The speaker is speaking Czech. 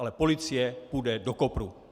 Ale policie půjde do kopru.